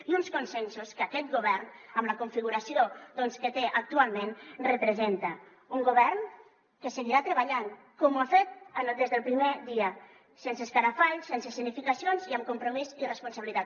i uns consensos que aquest govern amb la configuració que té actualment representa un govern que seguirà treballant com ho ha fet des del primer dia sense escarafalls sense escenificacions i amb compromís i responsabilitat